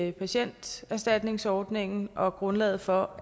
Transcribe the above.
i patienterstatningsordningen og grundlaget for